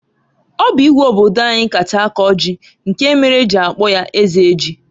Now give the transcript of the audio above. Ọ bụ Igwe obodo anyị kacha akọ ji, nke mere e ji akpọ ya Eze Ji.